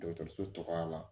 Dɔgɔtɔrɔso cogoya la